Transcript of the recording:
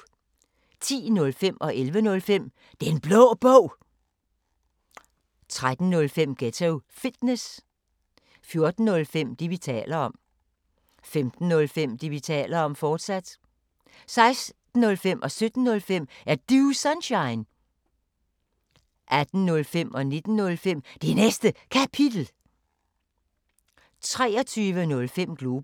10:05: Den Blå Bog 11:05: Den Blå Bog, fortsat 13:05: Ghetto Fitness 14:05: Det, vi taler om 15:05: Det, vi taler om, fortsat 16:05: Er Du Sunshine? 17:05: Er Du Sunshine? 18:05: Det Næste Kapitel 19:05: Det Næste Kapitel, fortsat 23:05: Globus